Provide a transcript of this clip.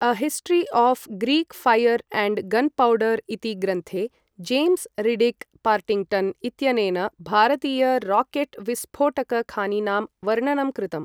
A history of Greek fire and gunpowder इति ग्रन्थे, James Riddick Partington इत्यनेन भारतीय राकेट् विस्फोटक खानिनां वर्णनं कृतम्।